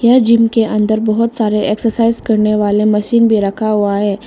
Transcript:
यह जिम के अंदर बहुत सारे एक्सरसाइज करने वाले मशीन भी रखा हुआ है।